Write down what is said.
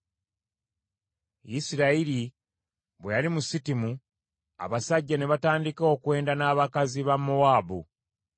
Isirayiri bwe yali mu Sitimu, abasajja ne batandika okwenda n’abakazi ba Mowaabu,